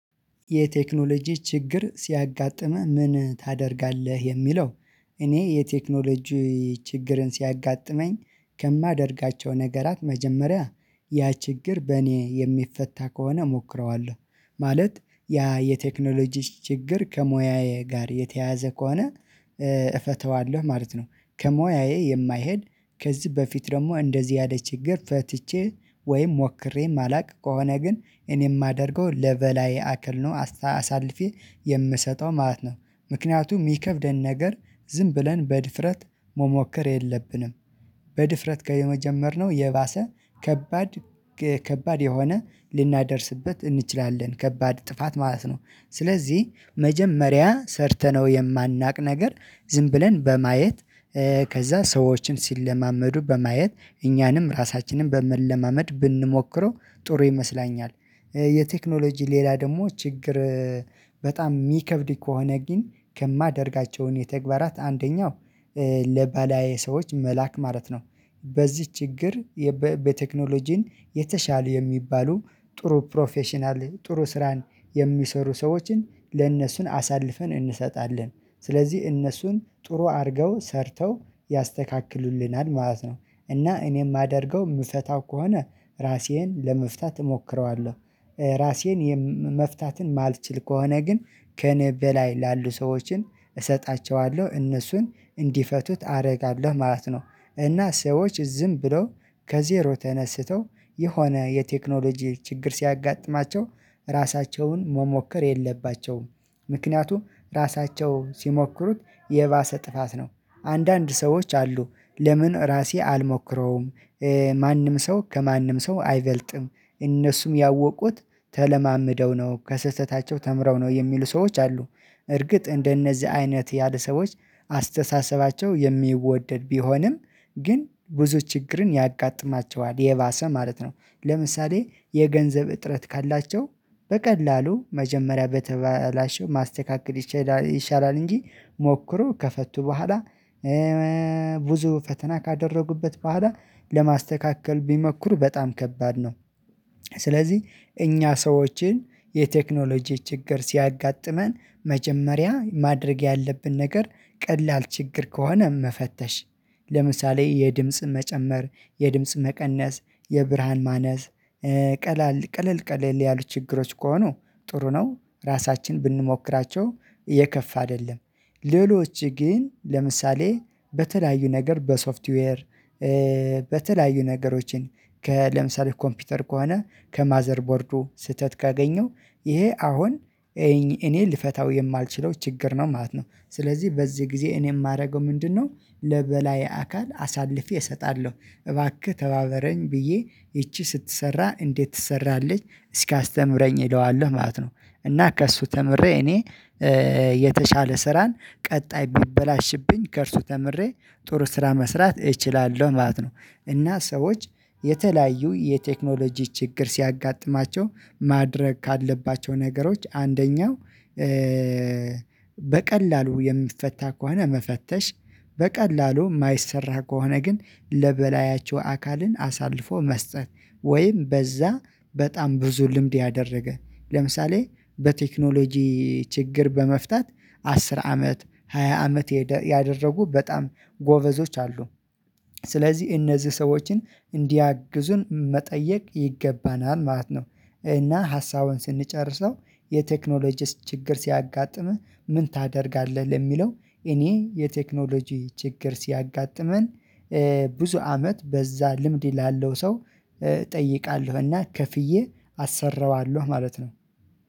የቴክኖሎጂ ችግር ሲያጋጥምህ ምን ታደርጋለህ የሚለው? እኔ የቴክኖሎጂ ችግርን ሲያጋጥመኝ ከማደርጋቸው ነገራት መጀመሪያ ያ ችግር በእኔ የሚፈታ ከሆነ እሞክረዋለሁ ማለት ያ የቴክኖሎጂ ችግር ከሙያዬ ጋር የተያያዘ ከሆነ እፈተዋለሁ ማለት ነው። ከሙያዬ የማይሄድ ከዚህ በፊት ደግሞ እንደዚህ ያለ ችግር ፈትቼ ወይም ሞክሬ የማላውቅ ከሆነ ግን እኔ የማደርገው ለበላዬ አካል ነው አሳልፌ የምሰጠው ማለት ነው። ምክንያቱም የሚከብደን ነገር ዝም ብለን በድፍረት መሞከር የለብንም በድፍረት ከየመጀመርነው የባሰ ከባድ ከባድ የሆነ ልናደርስበት እንችላለን ከባድ ጥፋት ማለት ነው። ስለዚህ መጀመሪያ ሰርተነው የማናውቅ ነገር ዝም ብለን በማየት ከዛ ሰዎችን ሲለማመዱ በማየት እኛንም ራሳችንን በመለማመድ ብንሞክረው ጥሩ ይመስለኛል። የቴክኖሎጂ ሌላ ደግሞ ችግር በጣም የሚከብድ ከሆነ ግን ከማደርጋቸውን ተግባራት አንደኛው ለበላዬ ሰዎች መላክ ማለት ነው። በዚህ ችግር የበ በቴክኖሎጂን የተሻሉ የሚባሉ ጥሩ ፕሮፌሽናል ጥሩ ስራን የሚሰሩ ሰዎችን ለእነሱን አሳልፈን እንሰጣለን ስለዚህ እነሱን ጥሩ አድርገው ሰርተው ያስተካክሉልናል ማለት ነው። እና እኔ የማደርገው የምፈታው ከሆነ ራሴን ለመፍታት እሞክረዋለሁ ራሴን የም መፍታትን የማልችል ከሆነ ግን ከእኔ በላይ ላሉ ሰዎችን እሰጣቸዋለሁ እነሱን እንዲፈቱት አደርጋለሁ ማለት ነው። እና ሰዎች ዝም ብለው ከዜሮ ተነስተው የሆነ የቴክኖሎጂ ችግር ሲያጋጥማቸው ራሳቸውን መሞከር የለባቸውም። ምክንያቱም ራሳቸው ሲሞክሩት የባሰ ጥፋት ነው። አንዳንድ ሰዎች አሉ ለምን ራሴ አልሞክረውም? ማንም ሰው ከማንም ሰው አይበልጥም እነሱም ያወቁት ተለማምደው ነው ከስህተታቸው ተምረው ነው የሚሉ ሰዎች አሉ። እርግጥ እንደነዚህ አይነት ያሉ ሰዎች አስተሳሰባቸው የሚወደድ ቢሆንም ግን ብዙ ችግርን ያጋጥማቸዋል የባሰ ማለት ነው። ለምሳሌ የገንዘብ እጥረት ካላቸው በቀላሉ መጀመሪያ በተበላሽው ማስተካከል ይችላ ይሻላል እንጂ ሞክሮ ከፈቱ በኋላ ብዙ ፈተና ካደረጉበት በኋላ ለማስተካከል ቢሞክሩ በጣም ከባድ ነው። ስለዚህ እኛ ሰዎች የቴክኖሎጂ ችግር ሲያጋጥመን መጀመሪያ ማድረግ ያለብን ነገር ቀላል ችግር ከሆነም መፈተሽ ለምሳሌ የድምጽ መጨመር የድምጽ መቀነስ የብርሃን ማነስ ቀላል ቀለል ቀለል ያሉ ችግሮች ከሆኑ ጥሩ ነው ራሳችን ብንሞክራቸው የከፋ አይደለም። ሌሎች ግን ለምሳሌ በተለያዩ ነገር በሶፍትዌር በተለያዩ ነገሮችን ከለምሳሌ ኮምፒውተር ከሆነ ከማዘር ቦርዱ ስህተት ካገኘው ይሄ አሁን እኔ ልፈታው የማልችለው ችግር ነው ማለት ነው። ስለዚህ በዚህ ጊዜ እኔ የማደርገው ምንድነው? ለበላይ አካል አሳልፌ እሰጣለሁ እባክህ ተባበረኝ ብዬ ይቺ ስትሰራ እንዴት ትሰራለች እስኪአስተምረኝ እለዋለሁ ማለት ነው። እና ከእሱ ተምሬ እኔ የተሻለ ስራን ቀጣይ ቢበላሽብኝ ከእርሱ ተምሬ ጥሩ ስራ መስራት እችላለሁ ማለት ነው። እና ሰዎች የተለያዩ የቴክኖሎጂ ችግር ሲያጋጥማቸው ማድረግ ካለባቸው ነገሮች አንደኛው በቀላሉ የሚፈታ ከሆነ መፈተሽ በቀላሉ የማይሰራ ከሆነ ግን ለበላያቸው አካል አሳልፎ መስጠት ወይም በዛ በጣም ብዙ ልምድ ያደረገ ለምሳሌ በቴክኖሎጂ ችግር በመፍታት አስር አመት ሃያ አመት ያደረጉ በጣም ጎበዞች አሉ ስለዚህ እነዚህ ሰዎችን እንዲያግዙን መጠየቅ ይገባናል ማለት ነው። እና ሀሳቡን ስንጨርሰው የቴክኖሎጂስ ችግር ሲያጋጥምህ ምን ታደርጋለህ ለሚለው? እኔ የቴክኖሎጂ ችግር ሲያጋጥመኝ ብዙ አመት በዛ ልምድ ላለው ሰው እጠይቃለሁ እና ከፍዬ አሰራዋለሁ ማለት ነው